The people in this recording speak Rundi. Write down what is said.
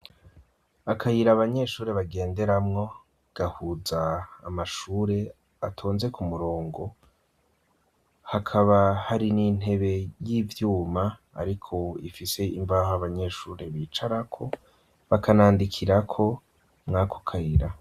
Akayira abanyeshure bagenderamwo, gahuza amashure atonze ku murongo; hakaba hari n'intebe y'ivyuma ariko ifise imbaho abanyeshure bicarako, bakanandikira ko mw'ako kayira.